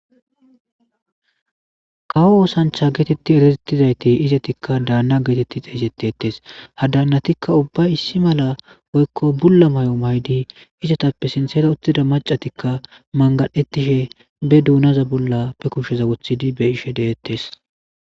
Kawo oosanchcha geetetti eretettizayti izetikka daanna geetetti xeysetetes ha dannatikka ubba issi malla woykko bulla may'o maydi izatappe siinththera uttida macatikka mangadhettishe be duunaza bolla pe kushsheza wothidi be'ishshe deettees